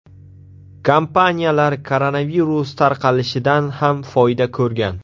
Kompaniyalar koronavirus tarqalishidan ham foyda ko‘rgan.